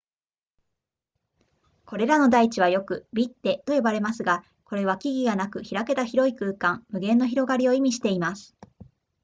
これらの台地はよくヴィッデと呼ばれますがこれは木々がなく開けた広い空間無限の広がりを意味しています